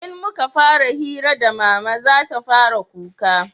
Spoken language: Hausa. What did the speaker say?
in muka fara hira da mama zata fara kuka